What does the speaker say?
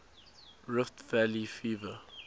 rift valley fever